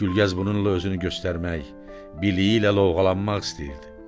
Gülgəz bununla özünü göstərmək, biliyi ilə lovğalanmaq istəyirdi.